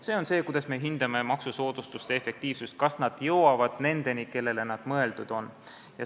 See on see, kuidas me hindame maksusoodustuste efektiivsust: kas nad jõuavad nendeni, kellele nad mõeldud on.